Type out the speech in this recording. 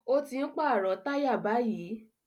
Ó ti ń pàrọ̀ táyà báyìí